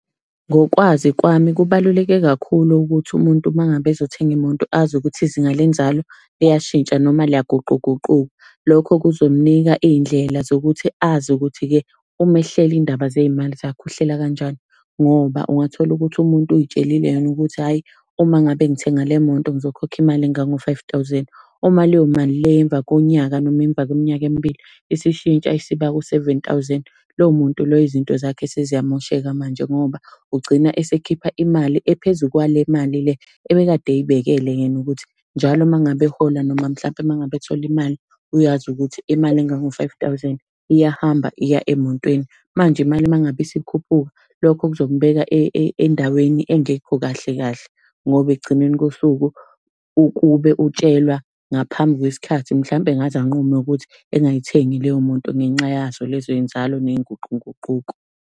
Ngokwazi kwami, kubaluleke kakhulu ukuthi umuntu uma ngabe ezothenga imoto azi ukuthi izinga lenzalo liyashintsha noma liyaguquguquka. Lokho kuzomunika iy'ndlela zokuthi azi ukuthi-ke uma ehlela iy'ndaba zey'mali zakhe uhlela kanjani, ngoba ungathola ukuthi umuntu uy'tshelile yena ukuthi hhayi uma ngabe ngithenga le moto ngizokhokha imali engango-five thousand. Uma leyo mali leyo emva konyaka, noma emva kweminyaka emibili isishintsha isiba u-seven thousand. Lowo muntu loyo izinto zakhe seziyamosheka manje ngoba ugcina esekhipha imali ephezu kwale mali le ebekade ey'bekele yena ukuthi njalo uma ngabe ehola noma mhlampe uma ngabe ethola imali, uyazi ukuthi imali engango-five thousand, iyahamba iya emotweni. Manje imali uma ngabe isikhuphuka, lokho kuzomubeka endaweni engekho kahle kahle. Ngoba ekugcineni kosuku, ukube utshelwa ngaphambi kwesikhathi mhlambe engaze anqume ukuthi engayithengi leyo moto ngenxa yazo lezo y'nzalo ney'nguqunguquko.